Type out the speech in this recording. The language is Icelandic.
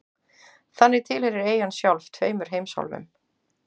Þannig tilheyrir eyjan sjálf tveimur heimsálfum.